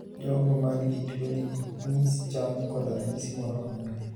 Jogo man gi tuo ni ok niris chal koda ranyisi moro amora.